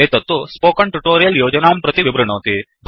एतत्तु spoken tutorial योजनां प्रति विवृणोति